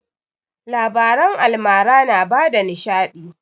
Labaran almara na bada nishaɗi